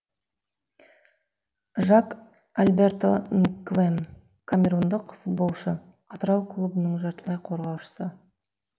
жак альберто нгвем камерундық футболшы атырау клубының жартылай қорғаушысы